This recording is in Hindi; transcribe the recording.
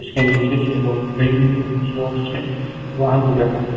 इसके नीचे से रोड गई हुई है उस रोड से वाहन गुजर रहे हैं।